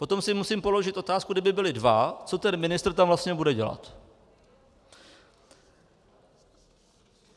Potom si musím položit otázku, kdyby byli dva, co ten ministr tam vlastně bude dělat.